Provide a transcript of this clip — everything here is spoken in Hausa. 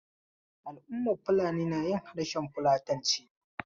Al'ummar Fulani na yin harshen fulatanci.